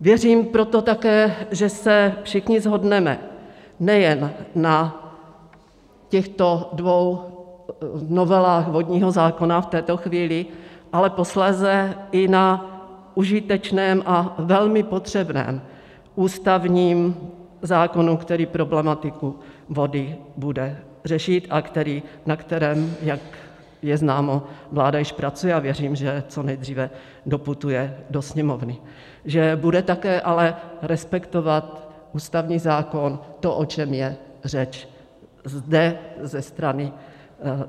Věřím proto také, že se všichni shodneme nejen na těchto dvou novelách vodního zákona v této chvíli, ale posléze i na užitečném a velmi potřebném ústavním zákonu, který problematiku vody bude řešit a na kterém, jak je známo, vláda již pracuje, a věřím, že co nejdříve doputuje do Sněmovny, že bude také ale respektovat ústavní zákon to, o čem je řeč zde